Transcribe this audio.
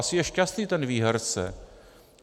Asi je šťastný ten výherce.